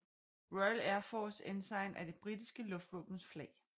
Royal Air Force Ensign er det britiske luftvåbens flag